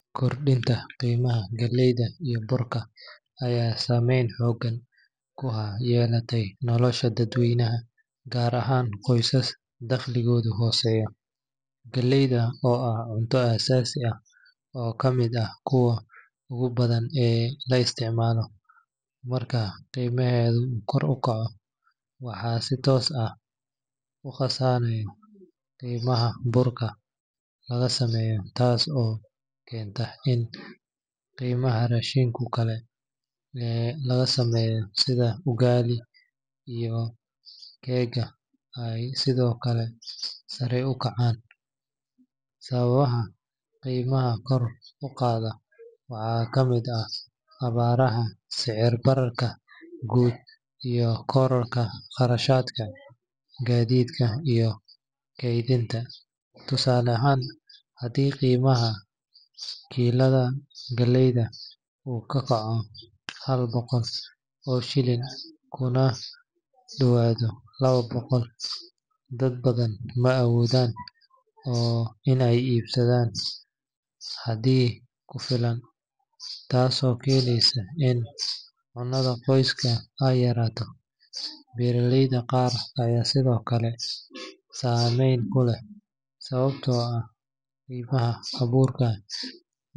Kordhinta qiimaha galleyda iyo burka ayaa saameyn xooggan ku yeelatay nolosha dadweynaha, gaar ahaan qoysaska dakhligoodu hooseeyo. Galleyda oo ah cunto aasaasi ah oo ka mid ah kuwa ugu badan ee la isticmaalo, marka qiimaheeda uu kordho, waxaa si toos ah u kacsanaya qiimaha burka laga sameeyo taas oo keenta in qiimaha raashinka kale ee la sameeyo sida ugali iyo keega ay sidoo kale sare u kacaan. Sababaha qiimaha kor u qaada waxaa ka mid ah abaaraha, sicir-bararka guud, iyo kororka kharashaadka gaadiidka iyo kaydinta. Tusaale ahaan, haddii qiimaha kiilada galleyda uu ka kaco hal boqol oo shilin kuna dhowaado laba boqol, dad badan ma awoodaan in ay iibsadaan xaddi ku filan, taasoo keeneysa in cunnada qoyska ay yaraato. Beeraleyda qaar ayaa sidoo kale saameyn ku leh sababtoo ah qiimaha abuurka.